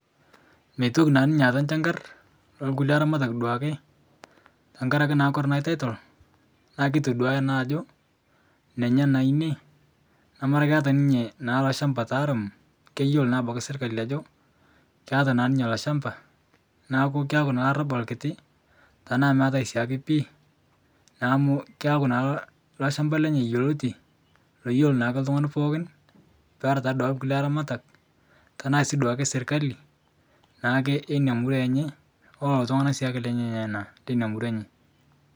Meitoki naa ninye aata nchankar lolkule aramatak duake tankaraki kore ana taitol naa keitoduya naa ajo nenye naa ine namara keata ninye lolshamba taharamu keyelo abaki serikali keata naa ninye ilo lshamba naaku keaku naa lorabal kiti taana meatae siake pii naa amu keaku naa loshamba lenye yuoloti loyelo naake ltungani pooki peraa taaduake kule aramatak tanasi duake serikali naake enia murua enye ololo ltungana si lenyena naa lenia murua enye.